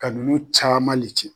Ka ninnu caman le ci.